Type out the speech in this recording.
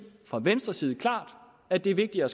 fra venstres side klart at det er vigtigere